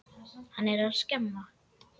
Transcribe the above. Hann er að skemma.